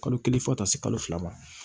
Kalo kelen fɔ ka taa se kalo fila ma